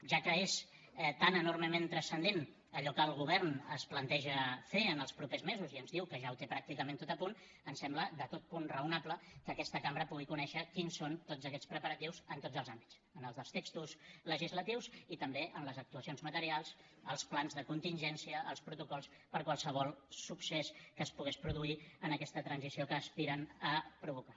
ja que és tan enormement transcendent allò que el govern es planteja fer en els propers mesos i ens diu que ja ho té pràcticament tot a punt ens sembla totalment raonable que aquesta cambra pugui conèixer quins són tots aquests preparatius en tots els àmbits en els dels textos legislatius i també en les actuacions materials els plans de contingència els protocols per qualsevol succés que es pogués produir en aquesta transició que aspiren a provocar